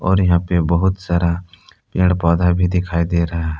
और यहां पे बहुत सारा पेड़ पौधा भी दिखाई दे रहा--